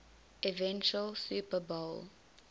eventual super bowl